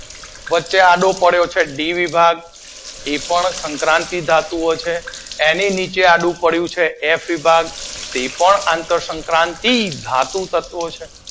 વચ્ચે આડો પડીઓ છે ડી વિભાગ એ પણ સંક્રાતી ધાતુઓ છે. એની નીચે આડુ પડ્યું છે એફ વિભાગ તે પણ આંત સઙ્ક્ક્રાંતીય ધાતુ તત્વો છે